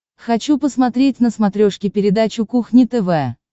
хочу посмотреть на смотрешке передачу кухня тв